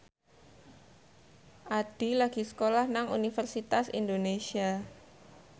Addie lagi sekolah nang Universitas Indonesia